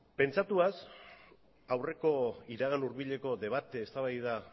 pentsatuz aurreko iragan hurbileko debate eztabaida